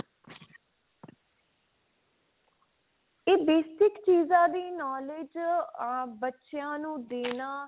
ਏ basic ਚੀਜ਼ਾਂ ਦੀ knowledge ਆਂ ਬੱਚਿਆਂ ਨੂੰ ਦੇਣਾ